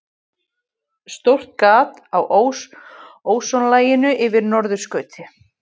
Stórt gat á ósonlaginu yfir norðurskauti